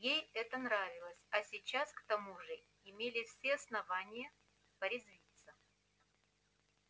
ей это нравилось а сейчас к тому же имелись все основания порезвиться